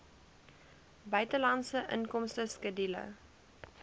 buitelandse inkomste skedule